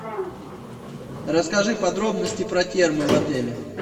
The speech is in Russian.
расскажи подробности про термы в отеле